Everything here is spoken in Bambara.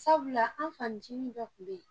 Sabula, an fannicinin dɔ tun bɛ yen.